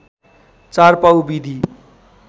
४ पाउ विधि